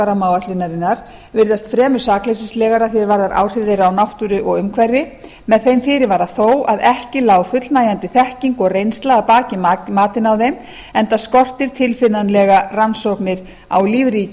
rammaáætlunarinnar virðast fremur sakleysislegar að því er varðar áhrif þeirra á náttúru og umhverfi með þeim fyrirvara þó að ekki lá fullnægjandi þekking og reynsla að baki matinu á þeim enda skortir tilfinnanlega rannsóknir á lífríki